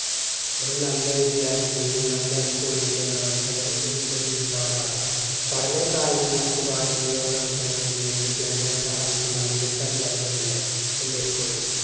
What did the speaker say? ഒരു നല്ല വിദ്യാർത്ഥി ഒരു നല്ല സ്കൂളിൻറെ പ്രവർത്തന . പഠനം, കായികം, മറ്റ് പാലേയിക പ്രവർത്തനങ്ങളിൽ വിദ്യാർഥികളെ സഹായിക്കുന്ന മികച്ച അധ്യാപകരുണ്ട് എൻറെ സ്കൂളിൽ.